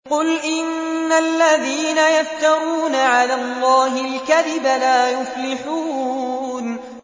قُلْ إِنَّ الَّذِينَ يَفْتَرُونَ عَلَى اللَّهِ الْكَذِبَ لَا يُفْلِحُونَ